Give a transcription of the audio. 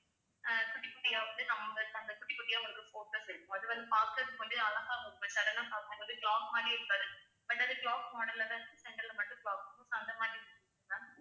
அஹ் குட்டி குட்டியா வந்து number அந்த குட்டி குட்டியா உங்களுக்கு focus இருக்கும் அது வந்து பாக்கறதுக்கு வந்து அழகா இருக்கும் இப்ப sudden ஆ பாக்கும் போதே clock மாதிரி இருக்காது but அது clock model லதான் center ல மட்டும் clock அந்த மாதிரி இருக்குது ma'am